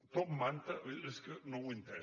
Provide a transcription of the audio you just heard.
top manta és que no ho he entès